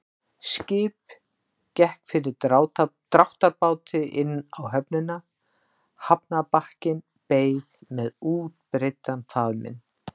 Skip gekk fyrir dráttarbáti inn á höfnina, hafnarbakkinn beið með útbreiddan faðminn.